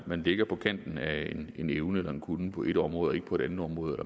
man ligger på kanten af en evne eller en kunnen på et område og ikke på et andet område